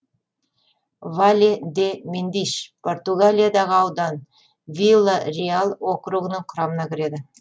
вале де мендиш португалиядағы аудан вила реал округінің құрамына кіреді